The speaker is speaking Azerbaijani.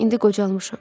İndi qocalmışam.